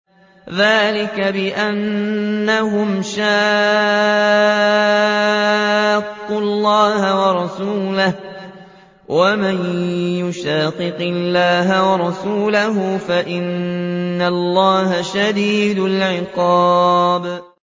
ذَٰلِكَ بِأَنَّهُمْ شَاقُّوا اللَّهَ وَرَسُولَهُ ۚ وَمَن يُشَاقِقِ اللَّهَ وَرَسُولَهُ فَإِنَّ اللَّهَ شَدِيدُ الْعِقَابِ